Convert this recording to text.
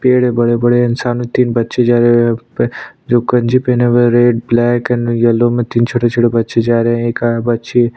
पेड़ हैं बड़े-बड़े इंसानो तीन बच्चे जा रहे हैं जो गंजी पहने हुए रेड ब्लैक एंड येलो में तीन छोटे-छोटे बच्चे जा रहे हैं एक और बच्ची --